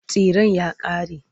Tsiren ya ƙare.